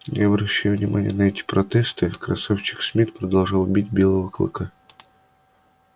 не обращая внимания на эти протесты красавчик смит продолжал бить белого клыка